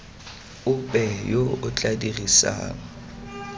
ope yo o tla dirisang